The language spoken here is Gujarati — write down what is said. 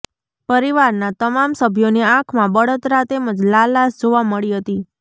પરિવારના તમામ સભ્યોની આંખમાં બળતરા તેમજ લાલાશ જોવામાં મળી હતી